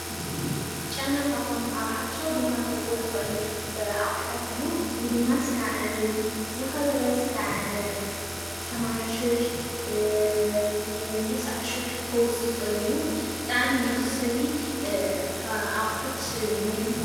ጨና ካብቶም ኣብ ሓፈሻዊ ድንኳን ክርከቡ ዝኽእል ኣቑሑታት እዩ፡፡ እዚ ድማ እስካዕ ትዝኸበረ እስካዕ ሰማንያ ሽሕ ቴስዓ ሽሕ ከውፅእ ይኽእል እዩ፡፡ ብጣዕሚ መኽሰቢ ኣቑሑት ናይ ድንኳን ።